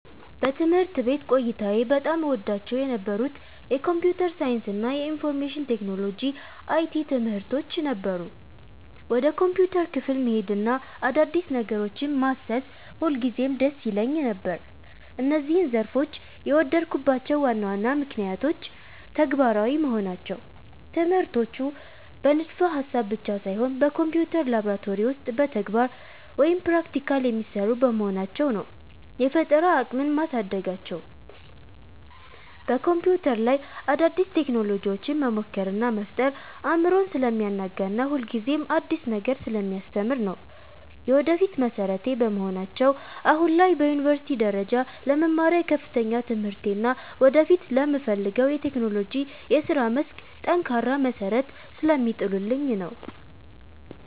በትምህርት ቤት ቆይታዬ በጣም እወዳቸው የነበሩት የኮምፒውተር ሳይንስ እና የኢንፎርሜሽን ቴክኖሎጂ (IT) ትምህርቶች ነበሩ። ወደ ኮምፒውተር ክፍል መሄድና አዳዲስ ነገሮችን ማሰስ ሁልጊዜም ደስ ይለኝ ነበር። እነዚህን ዘርፎች የወደድኩባቸው ዋና ዋና ምክንያቶች፦ ተግባራዊ መሆናቸው፦ ትምህርቶቹ በንድፈ-ሐሳብ ብቻ ሳይሆን በኮምፒውተር ላብራቶሪ ውስጥ በተግባር (Practical) የሚሰሩ በመሆናቸው ነው። የፈጠራ አቅምን ማሳደጋቸው፦ በኮምፒውተር ላይ አዳዲስ ቴክኖሎጂዎችን መሞከር እና መፍጠር አእምሮን ስለሚያናጋና ሁልጊዜም አዲስ ነገር ስለሚያስተምር ነው። የወደፊት መሠረቴ በመሆናቸው፦ አሁን ላይ በዩኒቨርሲቲ ደረጃ ለምማረው የከፍተኛ ትምህርቴ እና ወደፊት ለምፈልገው የቴክኖሎጂ የሥራ መስክ ጠንካራ መሠረት ስለሚጥሉልኝ ነው።